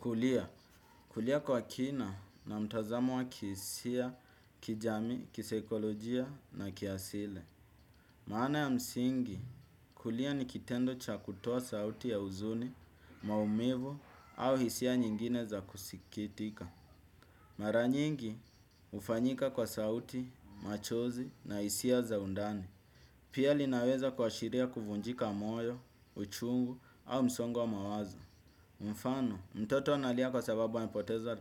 Kulia, kulia kwa kina na mtazamo wa kihisia, kijamii, kisaikolojia na kiasili. Maana ya msingi, kulia ni kitendo cha kutoa sauti ya huzuni, maumivu au hisia nyingine za kusikitika. Mara nyingi, hufanyika kwa sauti, machozi na hisia za undani. Pia linaweza kuashiria kuvunjika moyo, uchungu au msongo wa mawazo. Mfano, mtoto analia kwa sababu amepoteza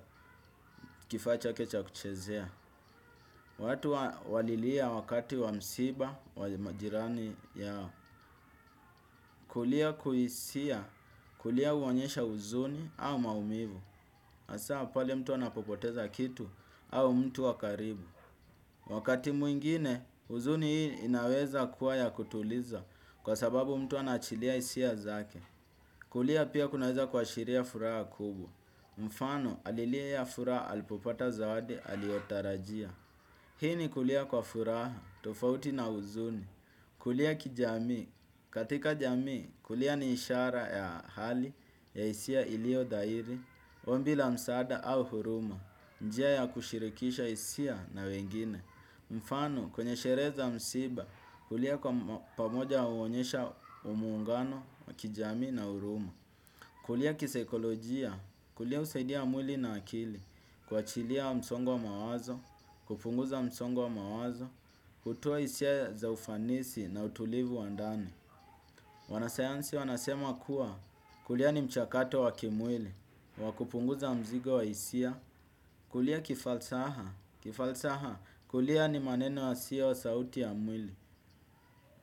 kifaa chake cha kuchezea. Watu walilia wakati wa msiba, wa majirani yao. Kulia kuhisia, kulia huonyesha huzuni au maumivu. Hasa pale mtu anapopoteza kitu au mtu wa karibu. Wakati mwingine, huzuni hii inaweza kuwa ya kutuliza kwa sababu mtu anaachilia hisia zake. Kulia pia kunaweza kuashiria furaha kubwa. Mfano alilia furaha alipopata zawadi aliyotarajia. Hii ni kulia kwa furaha, tofauti na huzuni. Kulia kijamii, katika jamii kulia ni ishara ya hali ya hisia iliyo dhahiri ombi la msaada au huruma, njia ya kushirikisha hisia na wengine. Mfano kwenye sherehe za msiba kulia kwa pamoja huonyesha muungano kijami na huruma. Kulia kisaikolojia, kulia husaidia mwili na akili, kuachilia msongo wa mawazo, kupunguza msongo wa mawazo, kutoa hisia za ufanisi na utulivu wa ndani. Wanasayansi wanasema kuwa kulia ni mchakato wa kimwili, wa kupunguza mzigo wa hisia, kulia kifalsaha, kulia ni maneno yasiyo sauti ya mwili,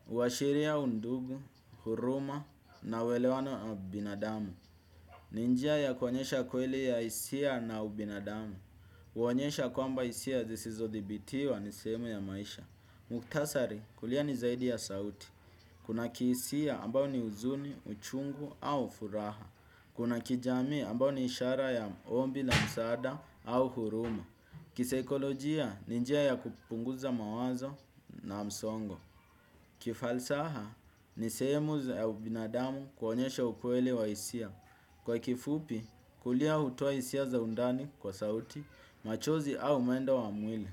huashiria undugu, huruma na uelewano na binadamu. Ni njia ya kuonyesha kweli ya hisia na ubinadamu huonyesha kwamba hisia zisizodhibitiwa ni sehemu ya maisha mukhtasari kulia ni zaidi ya sauti. Kuna kihisia ambao ni huzuni, uchungu au furaha. Kuna kijamii ambao ni ishara ya ombi la msaada au huruma. Kisaikolojia ni njia ya kupunguza mawazo na msongo. Kifalsaha ni sehemu ya ubinadamu kuonyesha ukweli wa hisia. Kwa kifupi kulia hutoa hisia za undani kwa sauti machozi au mwendo wa mwili.